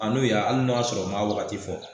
A n'o ya hali n'o y'a sɔrɔ o maa waagati fɔ.